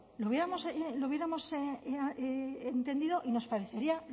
lo hubiéramos entendido y nos parecería